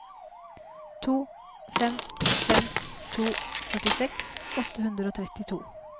to fem fem to førtiseks åtte hundre og trettito